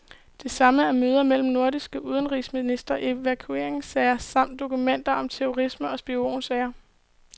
Det samme er møder mellem nordiske udenrigsministre, evakueringssager samt dokumenter om terrorisme og spionsager.